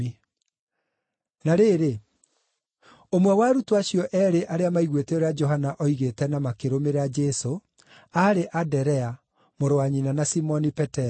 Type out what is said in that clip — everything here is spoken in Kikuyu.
Na rĩrĩ, ũmwe wa arutwo acio eerĩ arĩa maiguĩte ũrĩa Johana oigĩte na makĩrũmĩrĩra Jesũ aarĩ Anderea, mũrũ wa nyina na Simoni Petero.